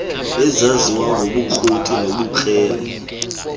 ezaziwa ngobukroti nobukrele